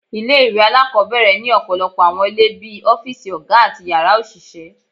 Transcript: Ile-iwe alakọbẹrẹ ni ọpọlọpọ awọn ile bii ọfiisi oga ati yara oṣiṣẹ